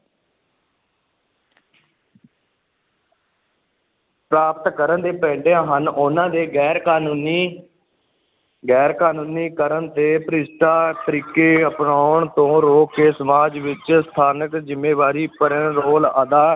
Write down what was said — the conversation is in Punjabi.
ਪ੍ਰਾਪਤ ਕਰਨ ਦੇ ਪੈਂਡੇ ਹਨ, ਉਨ੍ਹਾਂ ਦੇ ਗ਼ੈਰ ਕਾਨੂੰਨੀ ਗ਼ੈਰ ਕਾਨੂੰਨੀ ਕਰਨ ਦੇ ਭ੍ਰਿਸ਼ਟ ਤਰੀਕੇ ਅਪਣਾਉਣ ਤੋਂ ਰੋਕ ਕੇ ਸਮਾਜ ਵਿੱਚ ਸਥਾਨਕ ਜ਼ਿੰਮੇਵਾਰੀ ਭਰਿਆ ਰੋਲ ਅਦਾ